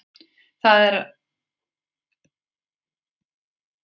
Það er að segja: Ég tók lyfið mitt af stökustu nákvæmni.